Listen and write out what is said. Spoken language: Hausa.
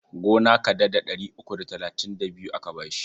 Gona kadada ɗari uku da talatin da biyu aka ba shi.